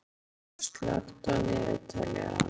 Hallgils, slökktu á niðurteljaranum.